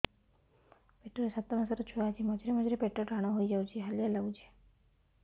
ପେଟ ରେ ସାତମାସର ଛୁଆ ଅଛି ମଝିରେ ମଝିରେ ପେଟ ଟାଣ ହେଇଯାଉଚି ହାଲିଆ ଲାଗୁଚି